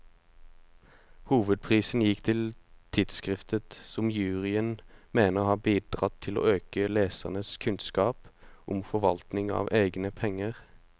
Hovedprisen gikk til tidskriftet, som juryen mener har bidratt til å øke lesernes kunnskap om forvaltning av egne penger.